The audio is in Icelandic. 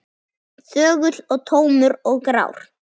Þögull og tómur og grár.